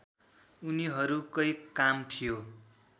उनीहरूकै काम थियो